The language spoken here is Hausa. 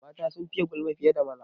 Mata sun fiye gulma fiye da maza.